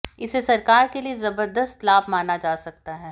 इसे सरकार के लिए जबरदस्त लाभ माना जा सकता है